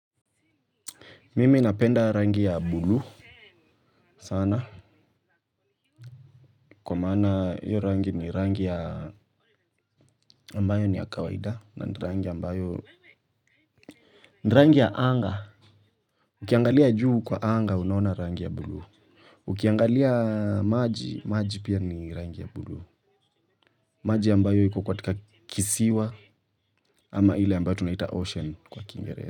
Mimi napenda rangi ya buluu. Sana, kwa mana iyo rangi ni rangi ya ambayo ni ya kawaida. Na ni ambayo, ni rangi ya anga. Ukiangalia juu kwa anga, unaona rangi ya buluu. Ukiangalia maji, maji pia ni rangi ya bulu. Maji ambayo iko katika kisiwa, ama ile ambayo tunaita ocean kwa Kiingereza.